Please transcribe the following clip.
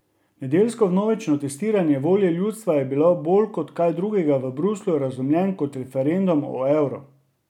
Nedeljsko vnovično testiranje volje ljudstva je bolj kot kaj drugega v Bruslju razumljen kot referendum o evru.